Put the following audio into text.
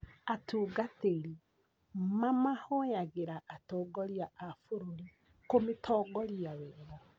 Atungatĩri mamahoyagĩra atongoria a bũrũri kũmĩtongoria wega.